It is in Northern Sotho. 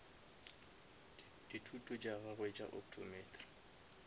dithuto tša gagwe tša optometry